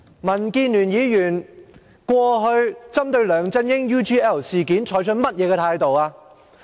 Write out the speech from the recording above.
民建聯議員過去針對梁振英 UGL 事件採取了甚麼態度？